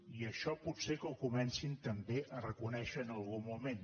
i això potser que ho comencin també a reconèixer en algun moment